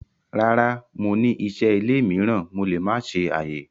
Rara, Mo n ni iṣẹ ile miiran Mo le ma ṣe aye.